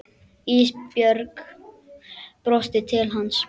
Ísbjörg brosti til hans.